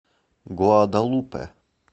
гуадалупе